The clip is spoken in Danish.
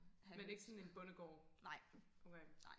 men ikke sådan en bondegård okay